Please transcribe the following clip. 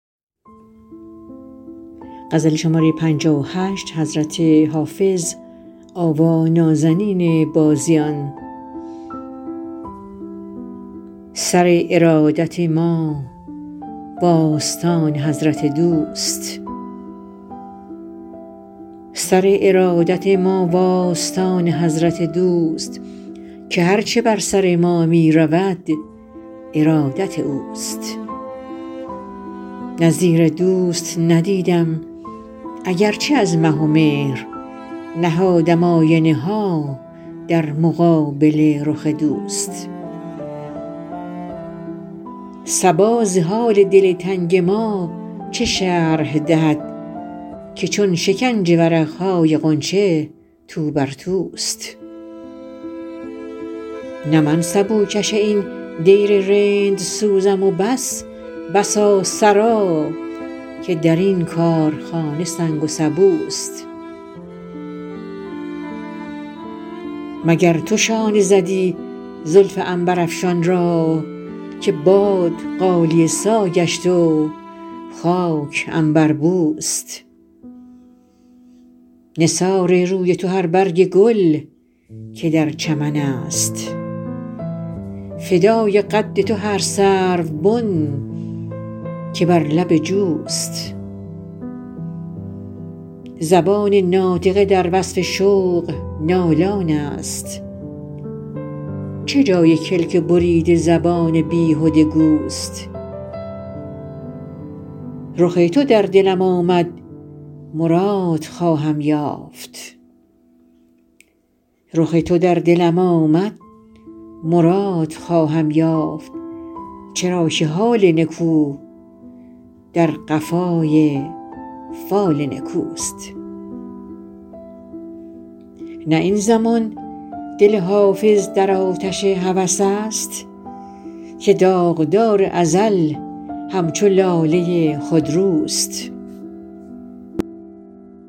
سر ارادت ما و آستان حضرت دوست که هر چه بر سر ما می رود ارادت اوست نظیر دوست ندیدم اگر چه از مه و مهر نهادم آینه ها در مقابل رخ دوست صبا ز حال دل تنگ ما چه شرح دهد که چون شکنج ورق های غنچه تو بر توست نه من سبوکش این دیر رندسوزم و بس بسا سرا که در این کارخانه سنگ و سبوست مگر تو شانه زدی زلف عنبرافشان را که باد غالیه سا گشت و خاک عنبربوست نثار روی تو هر برگ گل که در چمن است فدای قد تو هر سروبن که بر لب جوست زبان ناطقه در وصف شوق نالان است چه جای کلک بریده زبان بیهده گوست رخ تو در دلم آمد مراد خواهم یافت چرا که حال نکو در قفای فال نکوست نه این زمان دل حافظ در آتش هوس است که داغدار ازل همچو لاله خودروست